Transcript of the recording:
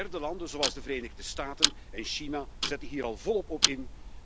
Derde landen zoals de Verenigde Staten en China zetten hier al volop op in.